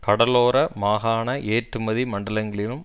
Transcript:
கடலோர மாகாண ஏற்றுமதி மண்டலங்களிலும்